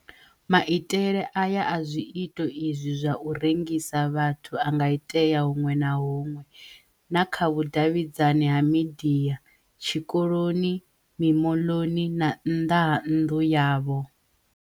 Maitele aya a zwiito izwi zwa u rengisa vhathu a nga itea huṅwe na huṅwe - na kha vhu-davhidzani ha midia, tshi koloni, mimoḽoni na nnḓa ha nnḓu yavho.